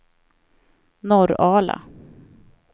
Norrala